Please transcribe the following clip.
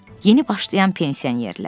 Yeni başlayan pensionerlər.